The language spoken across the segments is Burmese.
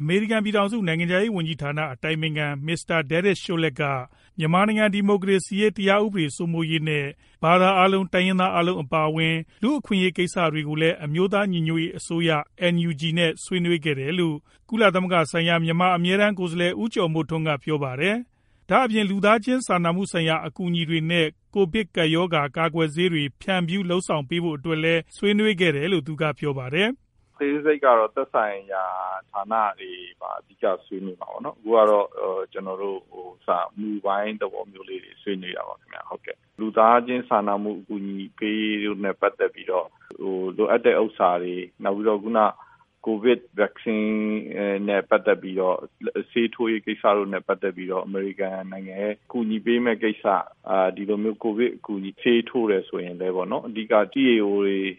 အမေရိကန် ပြည်ထောင်စု နိုင်ငံခြားရေးဝန်ကြီးဌာန အတိုင်ပင်ခံ Mr. Derek Chollet က မြန်မာနိုင်ငံ ဒီမိုကရေစီရေး၊ တရားဥပဒေစိုးမိုးရေး နဲ့ ဘာသာအားလုံး ၊ တိုင်းရင်းသားအားလုံး အပါအဝင် လူအခွင့်အရေးကိစ္စတွေကိုလည်း အမျိုးသားညီညွတ်ရေးအစိုးရ NUG နဲ့ ဆွေးနွေးခဲ့တယ်လို့ ကုလသမဂ္ဂဆိုင်ရာ အမြဲတန်းကိုယ်စားလှယ် ဦးကျော်မိုးထွန်း က ပြောပါတယ်။ဒါအပြင် လူသားချင်းဆိုင်ရာ အကူအညီတွေ နဲ့ ကိုဗစ်ကပ်ရောဂါ ကာကွယ်ဆေးတွေဖြန်ဖြူးလုပ်ဆောင်ဖို့အတွက်တွေ ဆွေးနွေးခဲ့တယ်လို့ သူကပြောပါတယ်။ "အသေးစိတ်ကတော့ သက်ဆိုင်ရာဌာနတွေမှာ ဆွေးနွေးရမှာပေါ့နော်။ မူပိုင်းသဘောဆွေးနွေးတာပါ။ လူသားချင်းစာနာမှုဆိုင်ရာ အကူအညီပေးရေးတို့နဲ့ ပတ်သက်ပြီးတော့ လိုအပ်တာတွေ နောက်ပြီးတော့ ကိုဗစ် ကာကွယ်ဆေးနဲ့ ပတ်သက်ပြီးတော့ ဆေးထိုးရေးကိစ္စနဲ့ ပတ်သက်ပြီးတော့ အကူအညီပေးမယ့်ကိစ္စ။ ဆေးထိုးမယ်ဆိုရင်လည်း အဓိက EAO တိုင်း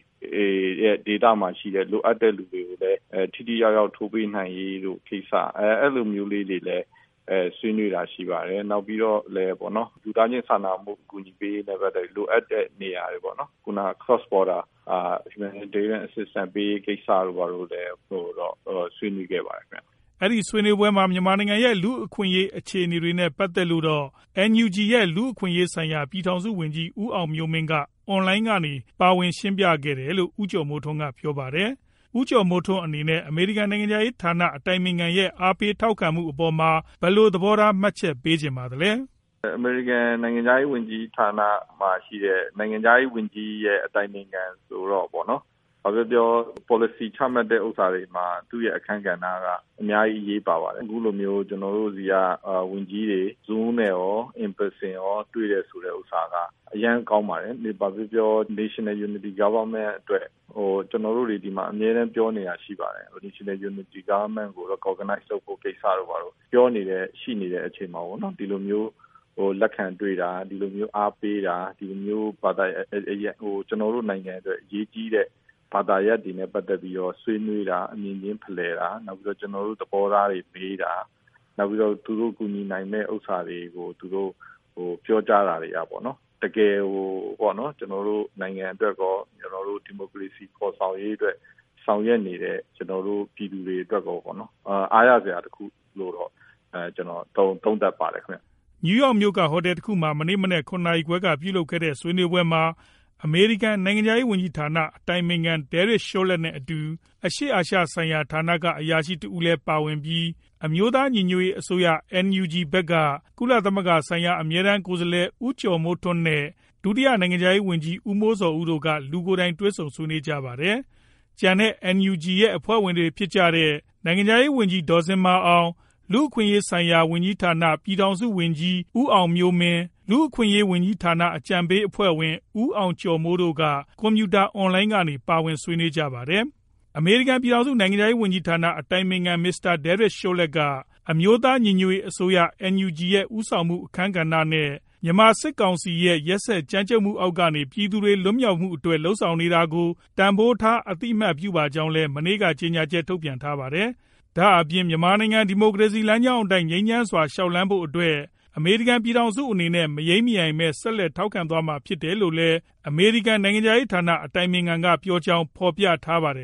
ရင်းသားလက်နက်ကိုင်တွေနယ်မြေမှာ ထိထိရောက်ရောက်ထိုးပေးနိုင်ရေးကိစ္စဆွေးနွေးတာရှိပါတယ်။ လူသားချင်းစာနာမှုနဲ့ ပတ်သက်ပြီး နယ်စပ်ဖြတ်ကျော်အကူညီပေးရေးကိစ္စကိုလည်း ဆွေးနွေးခဲ့ပါတယ်"။ အဲဒီဆွေးနွေးပွဲမှာ မြန်မာနိုင်ငံရဲ့ လူ့အခွင့်အရေးအခြေအနေတွေ နဲ့ ပတ်သက်လို့တော့ NUG ရဲ့ လူ့အခွင့်အရေးဆိုင်ရာ ပြည်ထောင်စုဝန်ကြီး ဦးအောင်မျိုးမင်း က အွန်လိုင်းကနေ ပါဝင်ရှင်းပြခဲ့တယ်လို့ ဦးကျော်မိုးထွန်း ကပြောပါတယ်။ ဦးကျော်မိုးထွန်း အနေနဲ့ အမေရိကန် နိုင်ငံခြားရေးဌာန အတိုင်ပင်ခံရဲ့ အားပေးထောက်ခံမှုအပေါ်မှာ ဘယ်လို သဘောထားမှတ်ချက်ပေးချင်ပါသလဲ"။ "အမေရိကန်နိုင်ငံခြားရေးဝန်ကြီးဌာနရဲ့ အတိုင်ပင်ခံဆိုတာ ဘာပဲပြောပြော မူဝါဒချမှတ်တဲ့အခါမှာ သူရဲ့ အခန်းကဏဏ္ဍက အများကြီးအရေးပါပါတယ်။ အခုလိုမျိုး ကွန်ပြူတာအွန်လိုင်းနဲ့ရော လူကိုယ်တိုင်ရောတွေ့တာက အရမ်းကောင်းပါတယ်။ ကျနော်တို့ပြောနေကြတဲ့ အမျိုးသား ညီညွတ်ရေးအစိုးရ NUG ကို လက်ခံတွေ့တာ အသိအမှတ်ပြုတာ အားပေးတာ ဘာသာရပ်တွေနဲ့ ပတ်သက်ပြီးတော့ အမြင်ချင်းဖလှယ်တာ ဆွေးနွေးတာ ကျနော်တို့ သဘောထားတွေမေးတာ ။ နောက်ပြီး သူတို့ကူညီနိုင်တာတွေပြောတာတွေဟာ တကယ်ကို ကျနော်တို့နိုင်ငံအတွက် ပြည်သူတွေအတွက် အားရစရာတခုလို့ ကျနော်သုံးသပ်ပါတယ်ခင်ဗျ" နယူးယောက်မြို့က ဟော်တယ်တခုမှာ မနေ့မနက် ၇နာရီခွဲလောက်က ပြုလုပ်ခဲ့တဲ့ ဆွေးနွေးပွဲမှာ အမေရိကန်နိုင်ငံခြားရေးဝန်ကြီးဌာန အတိုင်ပင်ခံDerek Chollet နဲ့ အတူ အရှေ့အာရှဆိုင်ရာဌာနက အရာရှိတဦးလည်းပါဝင်ပြီး အမျိုးသား ညီညွတ်ရေးအစိုးရ NUG ဖက်က ကုလသမဂ္ဂဆိုင်ရာ ကိုယ်စားလှယ် ဦးကျော်မိုးထွန်း နဲ့ ဒုတိယနိုင်ငံခြားရေးဝန်ကြီး ဦးမိုးဇော်ဦး တို့က လူကိုယ်တိုင်တွေ့ဆုံပါဝင်ကြပါတယ်။ ကျန်တဲ့ NUG ရဲ့ အဖွဲ့ဝင်တွေဖြစ်ကြတဲ့ နိုင်ငံခြားရေးဝန်ကြီး ဒေါ်ဇင်မာအောင် ၊ လူ့အခွင့်အရေးဆိုင်ရာဝန်ကြီးဌာန ပြည်ထောင်စုဝန်ကြီး ဦးအောင်မျိုးမင်း ၊ လူအခွင့်အရေးဝန်ကြီးဌာန အကြံပေးအဖွဲ့ဝင် ဦးအောင်ကျော်မိုး တို့ က ကွန်ပြူတာ အွန်လိုင်းကနေ ပါဝင်ဆွေးနွေးကြပါတယ်။ အမေရိကန် ပြည်ထောင်စု နိုင်ငံခြားရေးဝန်ကြီးဌာန အတိုင်ပင်ခံ Mr. Derek Chollet က အမျိုးသားညီညွတ်ရေးအစိုးရ NUG ရဲ့ဦးဆောင်မှုအခန်းကဏဏ္ဍ နဲ့မြန်မာစစ်ကောင်စီ ရဲ့ ကြမ်းကြုတ်ရက်စက်ဖိနိုပ်မှုအောက်ကနေ ပြည်သူတွေလွတ်မြောက်မှုအတွက် လုပ်ဆောင်နေတာကို တန်ဖိုးထား အသိအမှတ်ပြုပါကြောင်းလည်း မနေ့က ကြေညာချက်ထုတ်ပြန်ထားပါတယ်။ ဒါအပြင် မြန်မာနိုင်ငံ ဒီမိုကရေစီလမ်းကြောင်းအတိုင်း ငြိမ်းချမ်းစွာ လျှောက်လှမ်းဖို့အတွက် အမေရိကန် ပြည်ထောင်စု အနေနဲ့ မယိမ်းမယိုင်ပဲ ဆက်လက်ထောက်ခံသွားမှာဖြစ်တယ်လို့လည်း အမေရိကန် နိုင်ငံခြားရေးဌာန အတိုင်ပင်ခံက ပြောကြောင်းလည်း ဖော်ပြထားပါတယ်